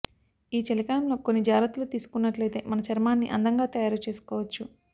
ఈ చలికాలంలో కొన్ని జాగ్రత్తలు తీసుకున్నట్లయితే మన చర్మాన్ని అందంగా తయారు చేసుకోవచ్చు